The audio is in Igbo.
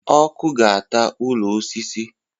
Ọkụ ga-ata ụlọ osisi